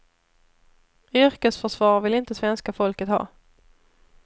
Yrkesförsvar vill inte svenska folket ha.